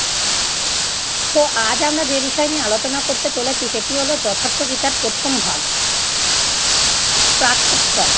তো আজ আমরা যে বিষয় নিয়ে আলোচনা করতে চলেছি সেটি হলো, যথার্থ গীতার প্রথম ভাগ প্রাক-উত্তন